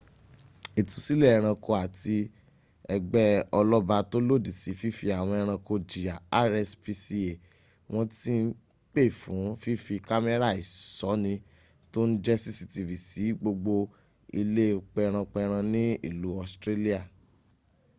ìtúsílẹ̀ ęranko àti ęgbẹ́ ọlọ́ba tó lòdí sí fífi àwọn ẹranko jìyà rspca wọ́n ti ń pè fún fífí kámẹ́rà ìṣóni tó n jẹ́ cctv sí gbogbo ilé pęran pęran ní ìlú australian